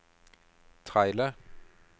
trailer